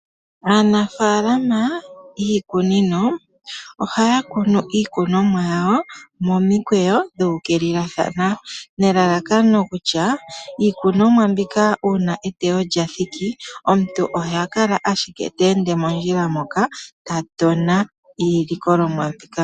Aanafalama yiikunino ohaya kunu iikunomwa yawo momikweyo dhu ukilia thana nelalakano kutya iikunomwa mbika uuna eteyo lya thiki omuntu oha kala ashike te ende mondjila moka ta tona iilikolomwa mbika.